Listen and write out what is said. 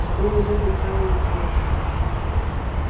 что мужик неправильно ответил